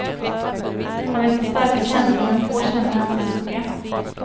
Han väcker starka känslor, men få känner hans historia.